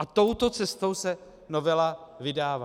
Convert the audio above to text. A touto cestou se novela vydává.